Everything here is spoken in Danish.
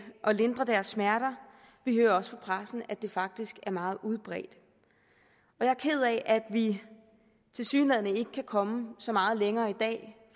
lindre deres smerter vi hører også fra pressen at det faktisk er meget udbredt jeg er ked af at vi tilsyneladende ikke kan komme så meget længere i dag